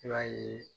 I b'a ye